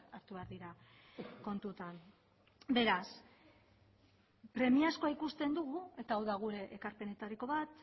hartu behar dira kontutan beraz premiazkoa ikusten dugu eta hau da gure ekarpenetariko bat